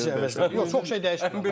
Yox, çox şey dəyişmirəm.